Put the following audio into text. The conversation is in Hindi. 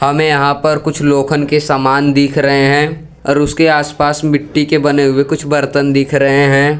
हमे यहां पर कुछ लोखन के सामान दिख रहे हैं और उसके आसपास मिट्टी के बने हुए कुछ बर्तन दिख रहे हैं।